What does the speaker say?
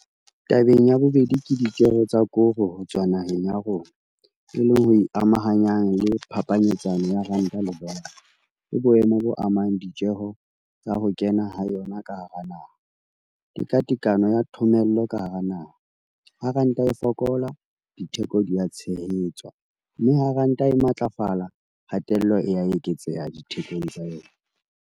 Tabeng ya bobedi, ke ditjeho tsa koro ho tswa naheng ya rona, e leng ho e amahanyang le phapanyetsano ya ranta le dolara, ke boemo bo amang ditjeho tsa ho kena ha yona ka hara naha, tekatekano ya thomello ka hara naha, ha ranta e fokola, ditheko di a tshehetswa, mme ha ranta e matlafala, kgatello e a eketseha dithekong tsa yona.